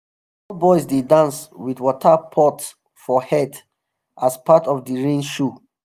small boys dey dance with water pot for head as part of the rain show.